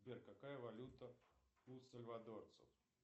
сбер какая валюта у сальвадорцев